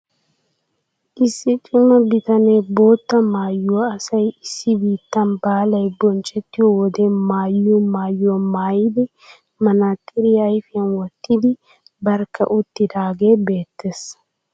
Issi cima bitanee bootta maayuwa asay issi biittan baalay bonchchettiyo wode maayiyo maayuwa maayidi manaaxiriya ayfiyan wottidi barkka uttidaagee beettees.